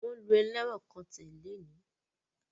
Wọ́n lu ẹlẹ́wọ̀n kan tẹ̀ lónìí